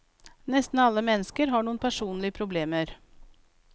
Nesten alle mennesker har noen personlige problemer.